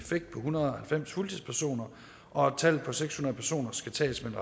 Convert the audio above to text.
hundrede og halvfems fuldtidspersoner og at tallet på seks hundrede personer skal tages med